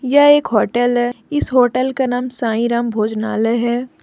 यह एक होटल है इस होटल का नाम साईं राम भोजनालय है।